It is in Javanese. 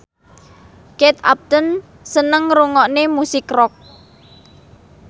Kate Upton seneng ngrungokne musik rock